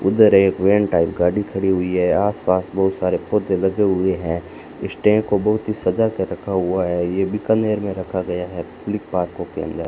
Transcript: उधर एक van type गाड़ी खड़ी हुई है आसपास बहुत सारे पौधे लगे हुए हैं स्टेज को बहुत ही सजा कर रखा हुआ है ये बीकानेर में रखा गया है फ्लिकपार्को के अंदर --